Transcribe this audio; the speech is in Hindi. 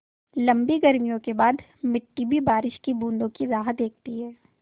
लम्बी गर्मियों के बाद मिट्टी भी बारिश की बूँदों की राह देखती है